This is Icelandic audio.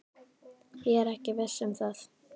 Ég er ekki viss um það.